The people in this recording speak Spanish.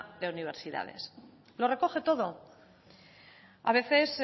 de universidades lo recoge todo a veces